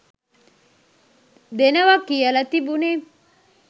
දෙනවා කියල තිබුනෙ.